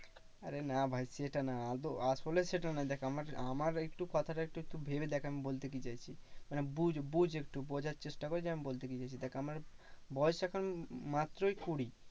আরে ভাই সেটা না আদো আসলে সেটা না, দেখ আমার আমার একটু কথাটা একটু ভেবে দেখ, আমি বলতে কি চাইছি? মানে বুঝ বুঝ একটু বোঝার চেষ্টা কর যে আমি বলতে কি চাইছি? দেখ আমার বয়স এখন মাত্রই কুড়ি